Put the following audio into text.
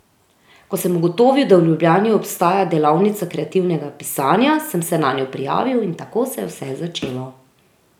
Ko sem ugotovil, da v Ljubljani obstaja delavnica kreativnega pisanja, sem se nanjo prijavil, in tako se je vse začelo.